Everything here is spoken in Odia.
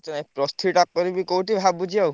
ଅଇଚ୍ଛା plus three କରିବି କୋଉଠି ଭାବୁଚି ଆଉ।